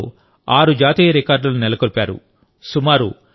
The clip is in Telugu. ఈ గేమ్లలో ఆరు జాతీయ రికార్డులను నెలకొల్పారు